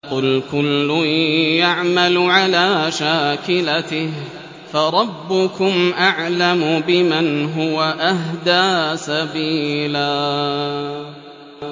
قُلْ كُلٌّ يَعْمَلُ عَلَىٰ شَاكِلَتِهِ فَرَبُّكُمْ أَعْلَمُ بِمَنْ هُوَ أَهْدَىٰ سَبِيلًا